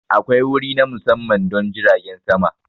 Akwai wuri na musamman don jiragen sama.